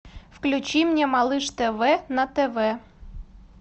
включи мне малыш тв на тв